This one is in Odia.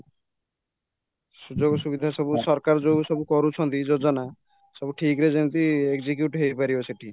ସୁଯୋଗ ସୁବିଧା ସବୁ ସରକାର ଯୋଉ ସବୁ କରୁଛନ୍ତି ଯୋଜନା ସବୁ ଠିକ୍ ରେ ଯେମିତି execute ହେଇପାରିବ ସେଠି